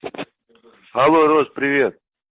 алло роза привет